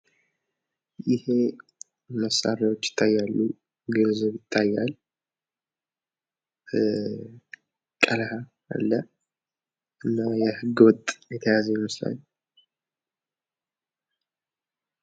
ይሄ መሳርያዎች ይታያሉ ገንዘብ ይታያል ቀለሀ አለ እና ህገወጥ የተያዘ ይመስላል።